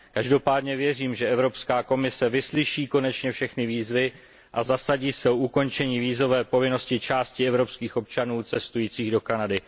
Každopádně věřím, že Evropská komise vyslyší konečně všechny výzvy a zasadí se o ukončení vízové povinnosti části evropských občanů cestujících do Kanady.